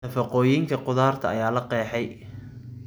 Nafaqooyinka khudradda ayaa la qeexay.